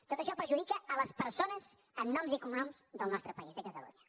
tot això perjudica les persones amb noms i cognoms del nostre país de catalunya